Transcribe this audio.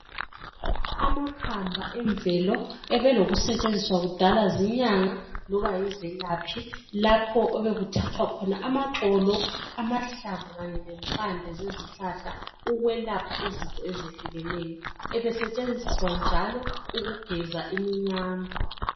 Amakhamba emvelo ebelokusetshenziswa kudala zinyanga loba yizelaphi lapho obekuthathwa khona amaxolo, amahlamvu kanye lempande zezihlahla ukwelapha izifo ezehlukeneyo ebesetshenziswa njalo ukugeza iminyama.